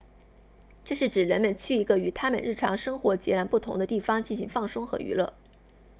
这是指人们去一个与他们日常生活截然不同的地方进行放松和娱乐